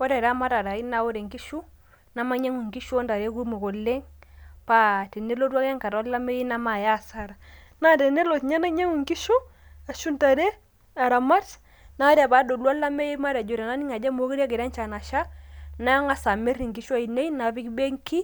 Ore eramatare ai na ore nkishu, namainyang'u inkishu ontare kumok oleng',pa tenelotu ake enkata olameyu namaaya asara. Na tenelo nye nainyang'u nkishu ashu ntare aramat, na ore padolu olameyu ah tenaning' ajo mekure egira enchan asha, nang'asa amir inkishu ainei napik benki,